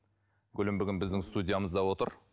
гүлім бүгін біздің студиямызда отыр